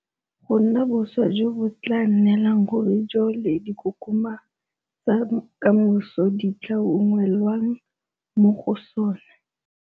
go nna boswa jo bo tla nnelang ruri jo le dikokoma tsa ka moso di tla unngwelwang mo go sona.